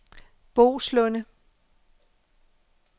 Boeslunde